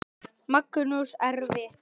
Magnús: Erfitt?